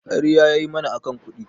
ƙarya yayi mana akan kuɗi